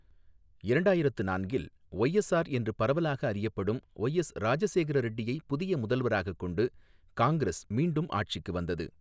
இரண்டாயிரத்து நான்கில் ஒய்எஸ்ஆர் என்று பரவலாக அறியப்படும் ஒய்எஸ் ராஜசேகர ரெட்டியைப் புதிய முதல்வராகக் கொண்டு காங்கிரஸ் மீண்டும் ஆட்சிக்கு வந்தது.